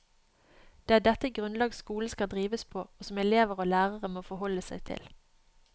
Det er dette grunnlag skolen skal drives på, og som elever og lærere må forholde seg til.